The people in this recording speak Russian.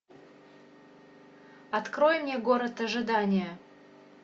открой мне город ожидания